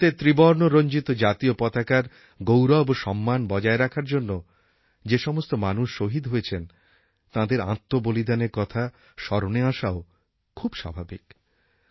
ভারতের ত্রিবর্ণরঞ্জিত জাতীয় পতাকার গৌরব ও সম্মান বজায় রাখার জন্য যেসমস্ত মানুষ শহীদ হয়েছেন তাঁদের আত্মবলিদানের কথা স্মরণে আসাও খুব স্বাভাবিক